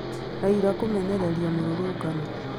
Raila kũmenereria mĩrũrũngano